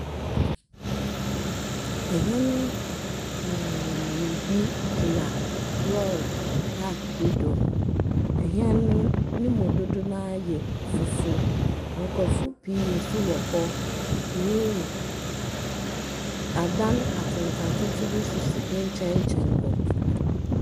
Ehɛn pii bi gyina lɔɔre paake bi do. Ehɛn no nemu dodow naa yɛ fufuw. Nkorɔfo pii nso wɔ hɔ. Adan atsentsen atsentsen bi nso si ne nkyɛnkyɛn hɔ.